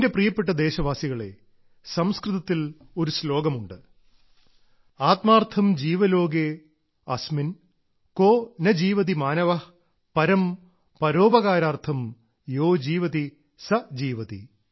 എന്റെ പ്രിയപ്പെട്ട ദേശവാസികളേ ഒരു സംസ്കൃത ശ്ലോകമുണ്ട് ആത്മാർത്ഥം ജീവലോകേ അസ്മിൻ കോ ന ജീവതി മാനവ പരം പരോപകാരാർത്ഥം യോ ജീവതി സ ജീവതി